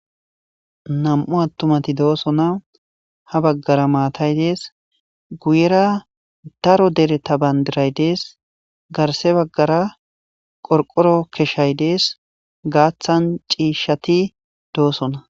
Nam'u attumati doosona ha baggara maatay dees guyera daro dere ta bandiray dees garse baggara qorqoro keshshay dees gaaththan ciishshati doosona